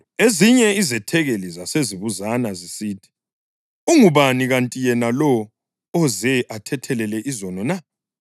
Ezinye izethekeli zasezibuzana zisithi, “Ungubani kanti yena lo oze athethelele izono na?”